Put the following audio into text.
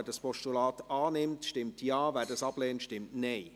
Wer das Postulat annimmt, stimmt Ja, wer dieses ablehnt, stimmt Nein.